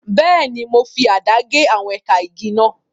Bẹ́ẹ̀ni, mo fi àdá gé àwọn ẹ̀ka igi náà.